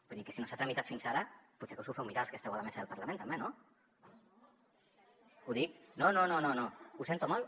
vull dir que si no s’ha tramitat fins ara potser que us ho feu mirar els que esteu a la mesa del parlament també no no no ho sento molt